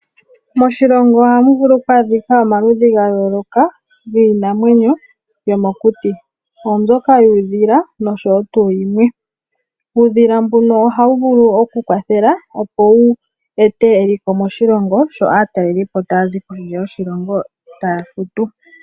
Moshilongo oha mu vulu okwaadhika omaludhi ga yooloka giinamwenyo yomokuti, oombyoka yuudhila osho wo tu yimwe. Uudhila mbuno oha wu vulu oku kwathela opo wu ete eliko moshilongo, sho aatalelipo ta ya zi kondje yoshilongo taafutu.